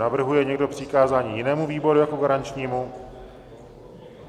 Navrhuje někdo přikázání jinému výboru jako garančnímu?